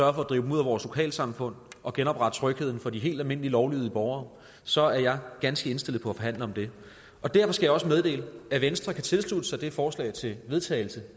at drive dem ud af vores lokalsamfund og genopretter trygheden for de helt almindelige lovlydige borgere så er jeg ganske indstillet på at forhandle om det derfor skal jeg også meddele at venstre kan tilslutte sig det forslag til vedtagelse